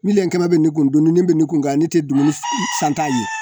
Miliyɔn kɛmɛ bɛ ne kun dumuni bɛ ne kun yan ne tɛ dumuni san t'a ye